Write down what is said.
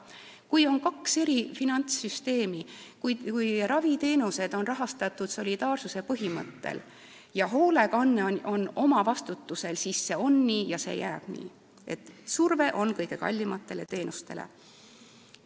Kui on kaks finantssüsteemi, kui raviteenused on rahastatud solidaarsuse põhimõttel, aga hoolekanne on oma vastutusel, siis see on nii ja see jääb nii, et surve on kõige kallimatele teenustele.